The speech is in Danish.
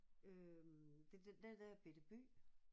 Øh det er den der bette by